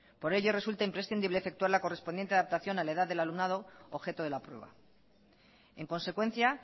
por ello resulta imprescindible efectuar la correspondiente adaptación a la edad del alumnado objeto de la prueba en consecuencia